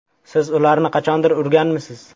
Siz ularni qachondir urganmisiz?